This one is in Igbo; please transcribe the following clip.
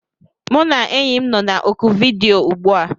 Mụ na enyi m nọ na oku vidiyo ugbu a